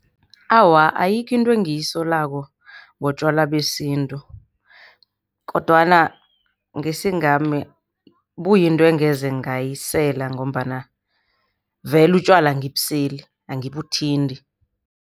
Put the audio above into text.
Awa, ayikho into engiyisolako ngotjwala besintu. Kodwana ngesingami buyinto engeze ngayisela ngombana, vele utjwala angibuseli, angibuthinti.